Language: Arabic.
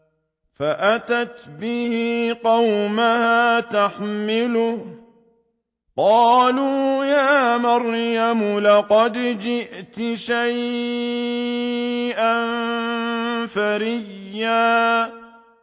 فَأَتَتْ بِهِ قَوْمَهَا تَحْمِلُهُ ۖ قَالُوا يَا مَرْيَمُ لَقَدْ جِئْتِ شَيْئًا فَرِيًّا